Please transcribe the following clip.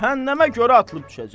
Cəhənnəmə görə atılıb düşəcək.